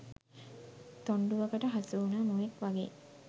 තොණ්ඩුවකට හසුවුණ මුවෙක් වගේ